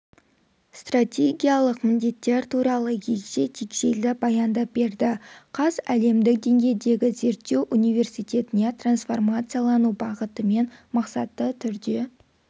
стратегиялық міндетттер туралы егжей-тегжейлі баяндап берді қаз әлемдік деңгейдегі зерттеу университетіне трансформациялану бағытымен мақсатты түрде